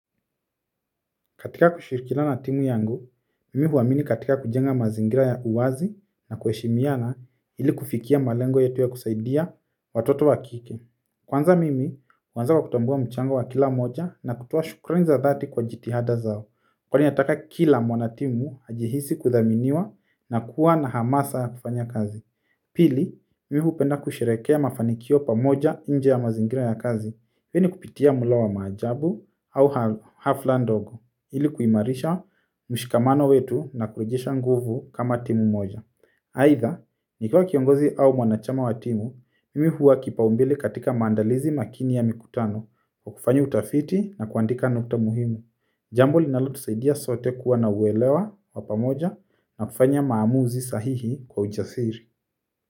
Katika kushirikiana na timu yangu, mimi huamini katika kujenga mazingira ya uwazi na kuheshimiana ili kufikia malengo yetu ya kusaidia watoto wa kike. Kwanza mimi, huanza kwa kutambua mchango wa kila mmoja na kutoa shukrani za dhati kwa jitihada zao, kwani nataka kila mwanatimu ajihisi kuthaminiwa na kuwa na hamasa ya kufanya kazi. Pili, mimi hupenda kusheherekea mafanikio pamoja nje ya mazingira ya kazi, hii ni kupitia mula wa majabu au hafla ndogo. Ili kuimarisha mshikamano wetu na kurejesha nguvu kama timu moja. Aidha, nikiwa kiongozi au mwanachama wa timu, mimi huwa kipaumbele katika maandalizi makini ya mikutano kwa kufanya utafiti na kuandika nukta muhimu. Jambo linalotusaidia sote kuwa na uwelewa wa pamoja na kufanya maamuzi sahihi kwa ujasiri.